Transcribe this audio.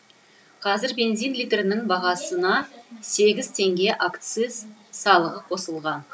қазір бензин литрінің бағасына сегіз теңге акциз салығы қосылған